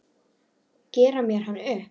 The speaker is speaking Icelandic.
Gera mér hann upp?